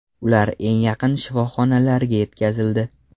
Ular eng yaqin shifoxonalarga yetkazildi.